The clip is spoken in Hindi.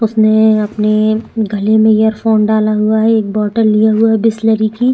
उसने अपने गले में एयरफ़ोन डाला हुआ है एक बोटल लिया हुआ है बिसलरी की--